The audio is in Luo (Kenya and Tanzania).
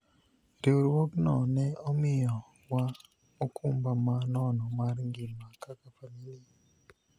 riwruogno ne omiyo wa okumba ma nono mar ngima kaka familia